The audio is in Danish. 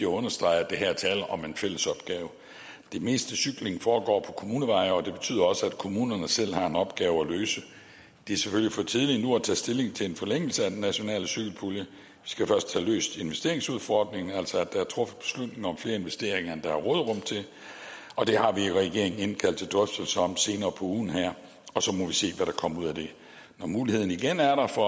understrege at der her er tale om en fællesopgave det meste cykling foregår på kommuneveje og det betyder også at kommunerne selv har en opgave at løse det er selvfølgelig for tidligt nu at tage stilling til en forlængelse af den nationale cykelpulje skal først have løst investeringsudfordringen altså at der er truffet beslutning om flere investeringer end der er råderum til og det har vi i regeringen indkaldt til drøftelser om senere på ugen og så må vi se hvad der kommer ud af det når muligheden igen er der for